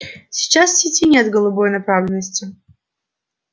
сейчас в сети нет голубой направленности